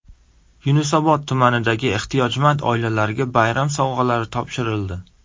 Yunusobod tumanidagi ehtiyojmand oilalarga bayram sovg‘alari topshirildi.